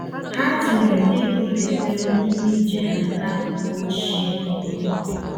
Ha tinyere ịga ụlọ ekpere n’ime ije ha n’akụkụ ochie obodo.